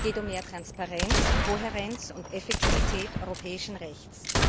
Es geht um mehr Transparenz, Kohärenz und Effektivität europäischen Rechts.